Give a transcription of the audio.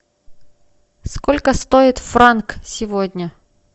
сколько стоит франк сегодня